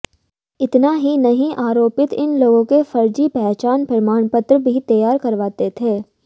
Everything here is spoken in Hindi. इतना ही नहीं आरोपित इन लोगों के फर्जी पहचान प्रमाणपत्र भी तैयार करवाते थे